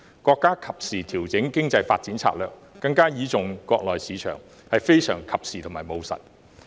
國家及時調整經濟發展策略，改為更倚重國內市場，是非常及時和務實的處理方法。